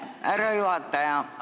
Aitäh, härra juhataja!